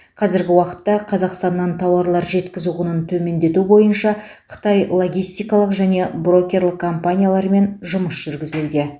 қазіргі уақытта қазақстаннан тауарлар жеткізу құнын төмендету бойынша қытай логистикалық және брокерлік компанияларымен жұмыс жүргізілуде